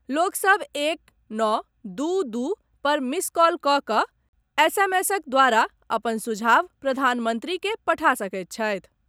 लोक सभ एक नओ दू दू पर मिस कॉल कऽ कऽ एसएमएसक द्वारा अपन सुझाव प्रधानमंत्री के पठा सकैत छथि।